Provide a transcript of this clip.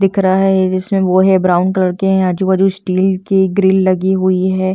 दिखरा है जिसमे वो है ब्राउन कलर के है आजू बाजू स्टील की ग्रिल लगी हुई है ।